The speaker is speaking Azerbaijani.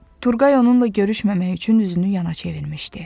Turqay onunla görüşməmək üçün üzünü yana çevirmişdi.